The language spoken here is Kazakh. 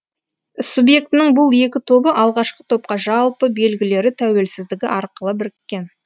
субъектінің бұл екі тобы алғашқы топқа жалпы белгілері тәуелсіздігі арқылы біріккен